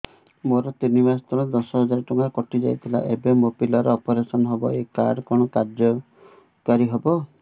ମୋର ତିନି ମାସ ତଳେ ଦଶ ହଜାର ଟଙ୍କା କଟି ଯାଇଥିଲା ଏବେ ମୋ ପିଲା ର ଅପେରସନ ହବ ଏ କାର୍ଡ କଣ କାର୍ଯ୍ୟ କାରି ହବ